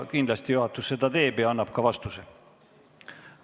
Kindlasti juhatus selle protesti läbi vaatab ja annab ka vastuse.